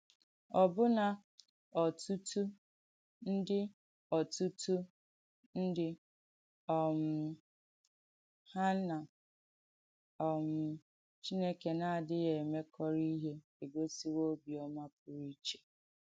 Ọ̀bụ́nà ọ̀tùtù ndí ọ̀tùtù ndí um hà nà um Chìnèkè nà-àdìghì èmèkọ́rọ̀ ìhé ègósìwò “òbìọ́mà pùrù ìché.”